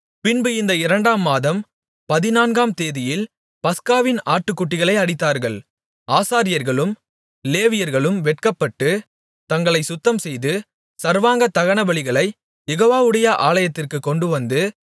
பின்பு இந்த இரண்டாம் மாதம் பதினான்காம் தேதியில் பஸ்காவின் ஆட்டுக்குட்டிகளை அடித்தார்கள் ஆசாரியர்களும் லேவியர்களும் வெட்கப்பட்டு தங்களை சுத்தம்செய்து சர்வாங்க தகனபலிகளைக் யெகோவாவுடைய ஆலயத்திற்குக் கொண்டுவந்து